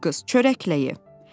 Ay qız, çörəklə ye.